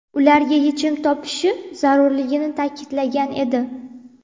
ularga yechim topishi zarurligini ta’kidlagan edi.